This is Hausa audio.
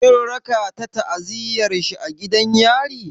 Kin raka ta ziyartar shi a gidan yari?